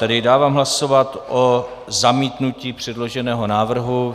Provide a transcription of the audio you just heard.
Tedy dávám hlasovat o zamítnutí předloženého návrhu.